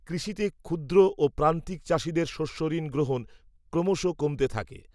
কৃষিতে ক্ষুদ্র ও প্রান্তিক চাষিদের শস্যঋণ গ্রহণ, ক্রমশ কমতে থাকে